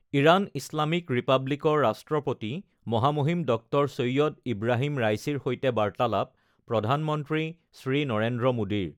Iran Islamic ৰিপাব্লিকৰ ৰাষ্ট্ৰপতি মহামহিম ড০ ছৈঈদ ইব্ৰাহিম ৰাইছিৰ সৈতে বাৰ্তালাপ প্ৰধানমন্ত্ৰী শ্ৰী নৰেন্দ্ৰ মোদীৰ